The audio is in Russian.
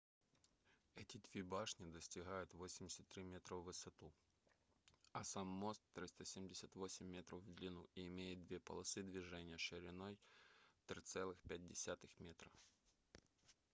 эти две башни достигают 83 метра в высоту а сам мост 378 метров в длину и имеет две полосы движения шириной 3,5 метра